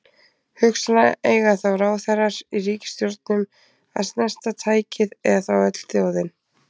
Hugsanlega eiga þá ráðherrar í ríkisstjórnum að snerta tækið eða þá öll þjóðin.